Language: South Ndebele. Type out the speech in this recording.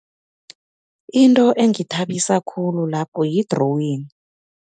Into engithabisa khulu lapho yi-drawing.